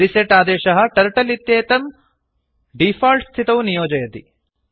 reset आदेशः turtle इत्येतं default स्थितौ नियोजयति